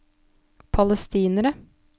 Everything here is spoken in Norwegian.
palestinere